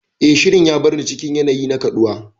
Eh, Shirin ya bar ni cikin yanayi na kaɗuwa.